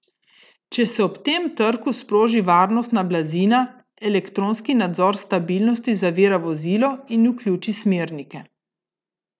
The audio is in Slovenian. Če se ob tem trku sproži varnostna blazina, elektronski nadzor stabilnosti zavira vozilo in vključi smernike.